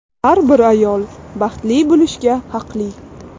Har bir ayol baxtli bo‘lishga haqli.